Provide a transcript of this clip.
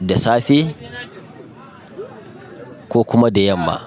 da safe ko kuma da yamma.